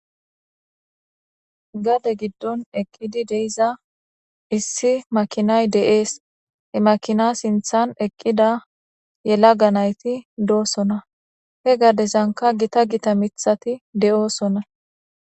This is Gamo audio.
Gade giddon eqqidi deiza issi makinay de7ees he makina sinthan eqqida yela ga nayti doosona he gardesanka gita gita mithati de7oosona